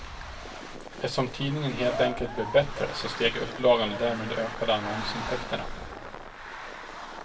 Eftersom tidningen helt enkelt blev bättre så steg upplagan och därmed ökade annonsintäkterna.